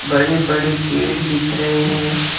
बड़े-बड़े पेड़ दिख रहे हैं।